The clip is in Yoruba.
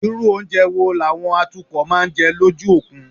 Irú oúnjẹ wo làwọn atukọ̀ máa ń jẹ lójú òkun?